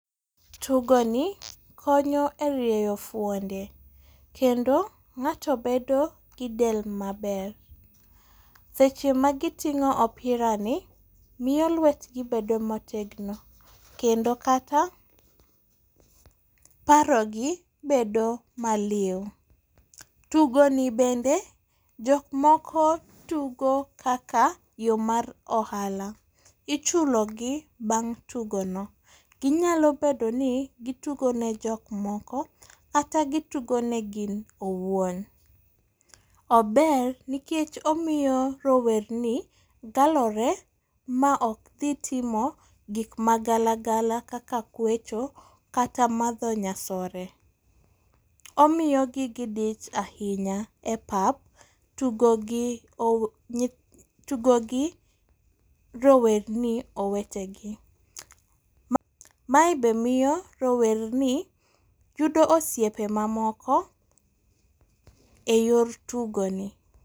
Tugoni konyo e rieyo fwonde, kendo ng'ato bedo gi del maber. Seche ma giting'o opirani, miyo lwetgi bedo motegno, kendo kata parogi bedo maliw. Tugoni bende, jok moko tugo kaka yo mar ohala. Ichulogi bang' tugono, ginyalo bedo ni gitugo ne jok moko kata gitugo ne gin owuon. Ober nikech omiyo rowerni galore ma ok dhi timo gik ma gala gala kaka kwecho kata madho nyasore. Omiyogi gidich ahinya e pap, tugo gi tugo gi rowerni owetegi. Mae be miyo rowerni yudo osiepe mamoko e yor tugoni.